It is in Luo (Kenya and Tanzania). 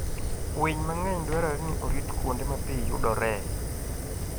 Winy mang'eny dwarore ni orit kuonde ma pi yudoree.